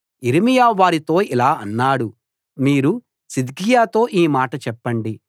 యిర్మీయా వారితో ఇలా అన్నాడు మీరు సిద్కియాతో ఈ మాట చెప్పండి